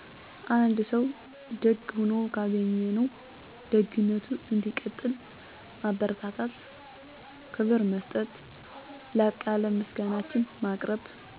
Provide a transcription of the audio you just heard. አንድ ሰው ደግ ሆኖ ካገኝነው ደግነቱ እንዲቀጥል ማበርታታት ክብር መሰጠት ላቅ ያለ ምሰጋናችን ማቅርብ....